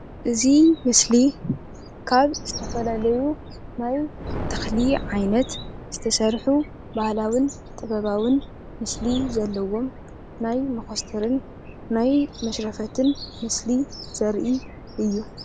እዚ ምስሊ እዚ ካብ ዝተፈላለዩ ናይ ተኽሊ ዓይነት ዝተሰርሑ ባህላዊን ጥበባዊን ምስሊ ዘለዎም ናይ ሞኮስተርን ናይ መሽረፈትን ምስሊ ዘርኢ እዩ።